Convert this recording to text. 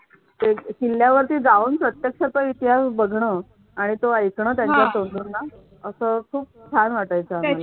किल्ल्या वरती जाऊन प्रत्यक्ष चा इतिहास बघणार आणि तो ऐक ना त्यांच्या तोंडून असं खूप छान वाटायच आम्हाला